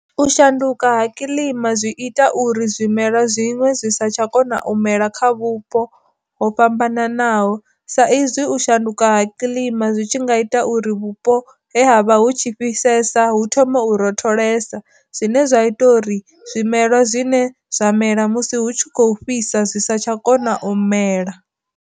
U shanduka ha kiḽima zwi ita uri zwimela zwiṅwe zwi sa tsha kona u mela kha vhupo ho fhambananaho, sa izwi u shanduka ha kiḽima zwi tshi nga ita uri vhupo he havha hu tshi fhisesa hu thome u rotholsa, zwine zwa ita uri zwimela zwine zwa mela musi hu tshi kho fhisa zwi sa tsha kona u mela.